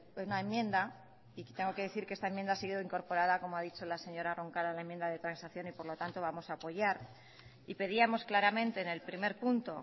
una enmienda y tengo que decir que esta enmienda ha sido incorporada como ha dicho la señora roncal a la enmienda de transacción y por lo tanto vamos a apoyar y pedíamos claramente en el primer punto